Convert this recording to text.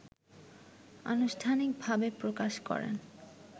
আনুষ্ঠানিকভাবে প্রকাশ করেন